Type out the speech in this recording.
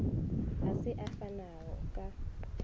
a se a fanago ka